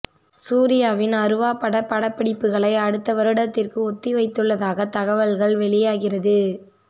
சூர்யாவின் அருவா பட படப்பிடிப்புகளை அடுத்தவருடத்திற்கு ஒத்தி வைத்துள்ளதாக தகவல்கள் வெளியாகிறது